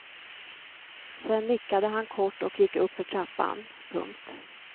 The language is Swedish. Sen nickade han kort och gick uppför trappan. punkt